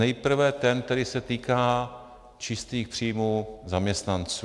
Nejprve ten, který se týká čistých příjmů zaměstnanců.